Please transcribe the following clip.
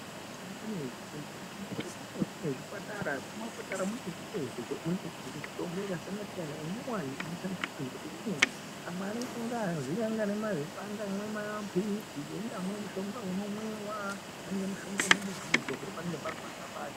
Vanhu vanokone kuenda kuzvipatara. Muzvipatara mune mishonga yakasiyana siyana minyowani inoshandiswa. Amweni anenge mazipanga, amweni maphirizi. Imweni mishonga inomwiwa imweni inozorwa panenge parwadza pacho.